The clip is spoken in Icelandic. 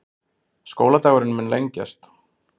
Skóladagurinn muni lengjast